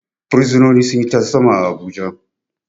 Bursunoni sun yi tarzoma a Abuja.